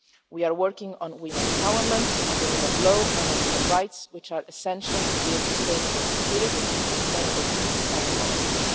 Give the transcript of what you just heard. We are working on women's empowerment, the rule of law and human rights, which are essential to build sustainable security, sustainable peace and development.